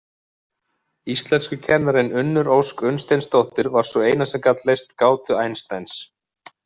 Íslenskukennarinn Unnur Ósk Unnsteinsdóttir var sú eina sem gat leyst gátu Einsteins.